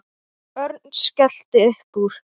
Örn skellti upp úr.